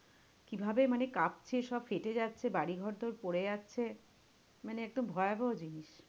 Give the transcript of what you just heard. কিভাবে মানে কাঁপছে সব ফেটে যাচ্ছে বাড়ি ঘরদোর পড়ে যাচ্ছে, মানে একদম ভয়াবহ জিনিস।